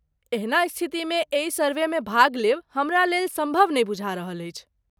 एहना स्थितिमे एहि सर्वेमे भाग लेब हमरा लेल सम्भव नहि बुझा रहल अछि।